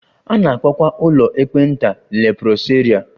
A na-akpọkwa ụlọ ekpenta leprosaria